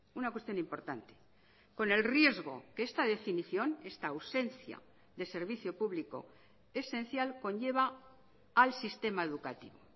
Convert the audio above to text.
una cuestión importante con el riesgo que esta definición esta ausencia de servicio público esencial conlleva al sistema educativo